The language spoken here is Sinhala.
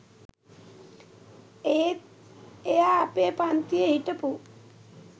ඒත් එයා අපේ පංතියෙ හිටපු